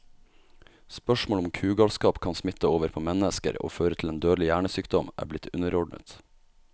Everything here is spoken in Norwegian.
Spørsmålet om kugalskap kan smitte over på mennesker og føre til en dødelig hjernesykdom, er blitt underordnet.